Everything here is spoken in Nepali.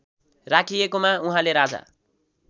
राखिएकोमा उहाँले राजा